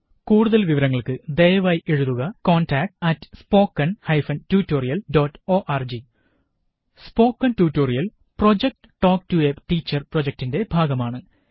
കൂടുതല് വിവരങ്ങള്ക്ക് ദയവായി എഴുതുക contactspoken tutorialorg spoken tutorial project talk to a teacher പ്രോജക്ടിന്റെ ഭാഗമാണ്